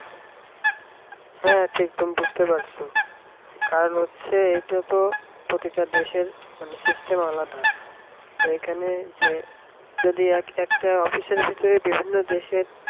হ্যাঁ ঠিক তুমি বুঝতে পারছ আর হচ্ছে এইটা তো প্রতিটা দেশের মানে system আলাদা তা এইখানে যে যদি একটা office র ভিতরে বিভিন্ন দেশের